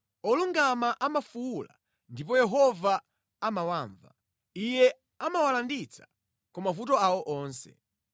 Olungama amafuwula, ndipo Yehova amawamva; Iye amawalanditsa ku mavuto awo onse.